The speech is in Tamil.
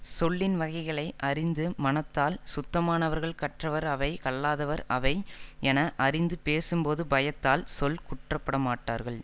சொல்லின்வகைகளை அறிந்து மனத்தால் சுத்தமானவர்கள் கற்றவர் அவை கல்லாதவர் அவை என அறிந்து பேசும்போது பயத்தால் சொல் குற்றப்படமாட்டார்கள்